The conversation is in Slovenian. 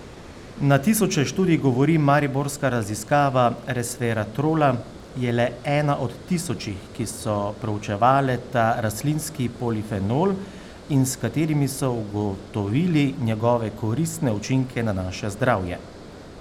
Na tisoče študij govori Mariborska raziskava resveratrola je le ena od tisočih, ki so proučevale ta rastlinski polifenol in s katerimi so ugotovili njegove koristne učinke na naše zdravje.